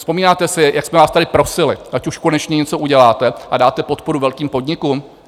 Vzpomínáte si, jak jsme vás tady prosili, ať už konečně něco uděláte a dáte podporu velkým podnikům?